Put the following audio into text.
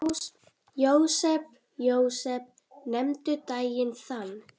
Jósep, Jósep, nefndu daginn þann.